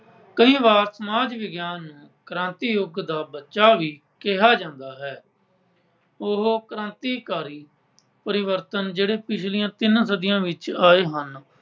ਕਈ ਵਾਰ ਸਮਾਜ ਵਿਗਿਆਨ ਨੂੰ ਕ੍ਰਾਂਤੀ ਯੁੱਗ ਦਾ ਬੱਚਾ ਵੀ ਕਿਹਾ ਜਾਂਦਾ ਹੈ। ਉਹ ਕ੍ਰਾਂਤੀਕਾਰੀ ਪਰਿਵਰਤਨ ਜਿਹੜੇ ਪਿਛਲੀਆਂ ਤਿੰਨ ਸਦੀਆਂ ਵਿੱਚ ਆਏ ਹਨ